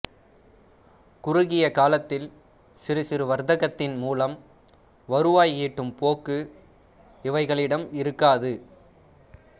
குறுகிய காலத்தில் சிறுசிறு வர்த்தகத்தின் மூலம் வருவாய் ஈட்டும் போக்கு இவைகளிடம் இருக்காது